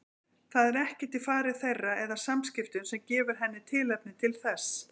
Það er ekkert í fari þeirra eða samskiptum sem gefur henni tilefni til þess.